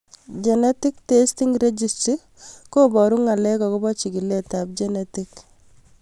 Genetic testing registry koparu ng'alek akopo chig'ilet ab genetic